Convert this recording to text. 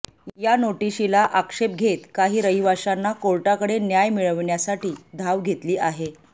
या नोटीशीला आक्षेप घेत काही रहिवाशांना कोर्टाकडे न्याय मिळवण्यासाठी धाव घेतली आहे